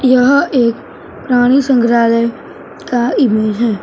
यह एक प्राणी संग्रहालय का इमेज है।